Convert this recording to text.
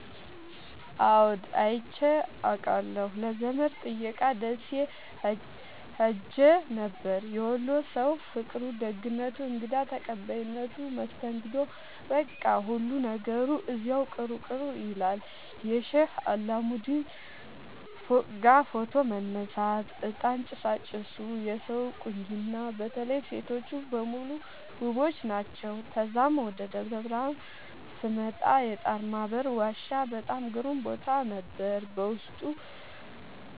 አዎድ አይቼ አቃለሁ ለዘመድ ጥየቃ ደሴ ኸሄ ነበር። የወሎ ሠዉ ፍቅሩ፣ ደግነቱ፣ እንግዳ ተቀባይነቱ መስተንግዶዉ በቃ ሁሉ ነገሩ እዚያዉ ቅሩ ቅሩ ይላል። የሼህ አላሙዲን ፎቅጋ ፎቶ መነሳት፤ እጣን ጭሣጭሡ የሠዉ ቁንጅና በተለይ ሤቶቹ በሙሉ ዉቦች ናቸዉ። ተዛም ወደ ደብረብርሀን ስመጣ የጣርማበር ዋሻ በጣም ግሩም ቦታ ነበር፤ ዉስጡ